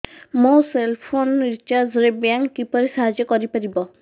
ମୋ cell phone recharge ରେ bank କିପରି ସାହାଯ୍ୟ କରିପାରିବ